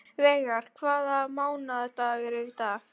Veigar, hvaða mánaðardagur er í dag?